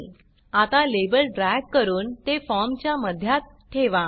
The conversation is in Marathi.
आता लेबल ड्रॅग करून ते फॉर्मच्या मध्यात ठेवा